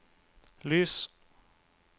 lys